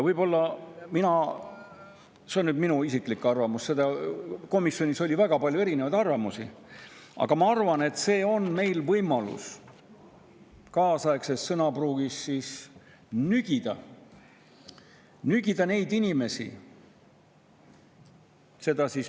See on nüüd minu isiklik arvamus, komisjonis oli väga palju erinevaid arvamusi, aga mina arvan, et see on meie võimalus – kaasaegset sõnapruuki kasutades – nügida neid inimesi.